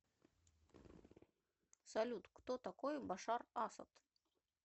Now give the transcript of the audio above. салют кто такой башар асад